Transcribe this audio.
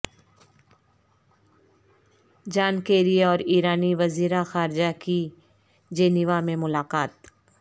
جان Kerry اور ایرانی وزیرخارجہ کی جینیوا میں ملاقات